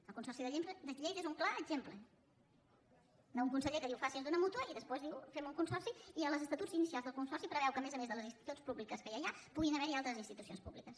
el consorci de lleida és un clar exemple d’un conseller que diu faci’s d’una mútua i després diu fem un consorci i als estatuts inicials del consorci preveu que a més a més de les institucions públiques que ja hi ha puguin haver hi altres institucions públiques